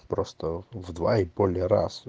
просто в два и более раз